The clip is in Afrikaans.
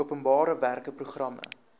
openbare werke programme